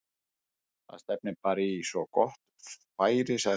Það stefnir bara í svo gott færi- sagði